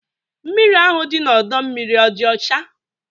Mmiri ahụ dị n'ọdọ mmiri ọ dị ọcha?